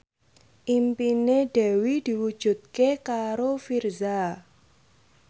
impine Dewi diwujudke karo Virzha